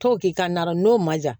To k'i ka na n'o ma ja